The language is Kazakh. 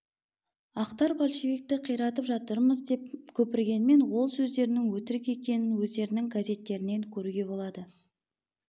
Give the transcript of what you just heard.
ақтар большевикті қиратып жатырмыз деп көпіргенмен ол сөздерінің өтірік екенін өздерінің газеттерінен көруге болады